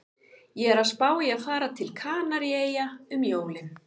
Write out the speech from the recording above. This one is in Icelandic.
Ég er að spá í að fara til Kanaríeyja um jólin